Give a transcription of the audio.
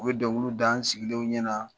U bɛ dɔnkiliw da an sigilenw ɲɛna.